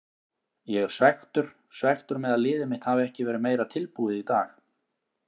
Ég er svekktur, svekktur með að liðið mitt hafi ekki verið meira tilbúið í dag.